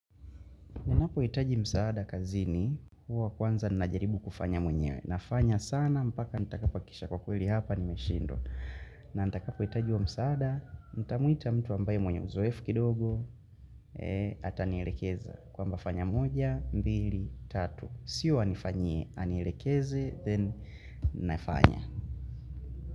Ninapohitaji msaada kazini, huwa kwanza ninajaribu kufanya mwenyewe. Na fanya sana, mpaka nitakapohakisha kwa kweli hapa nimeshindwa. Na nitakapohitaji huo msaada, nitamwita mtu ambaye mwenye uzoefu kidogo, ee, ata nilekeza. Kwamba fanya moja, mbili, tatu. Sio anifanyie, anilekeze, then nafanya.